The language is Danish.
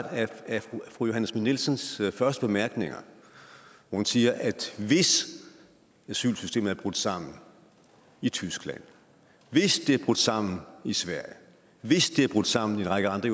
af fru johanne schmidt nielsens første bemærkninger hun siger at hvis asylsystemet er brudt sammen i tyskland hvis det er brudt sammen i sverige hvis det er brudt sammen i en række andre